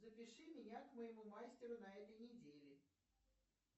запиши меня к моему мастеру на этой неделе